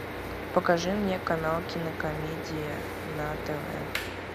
покажи мне канал кинокомедия на тв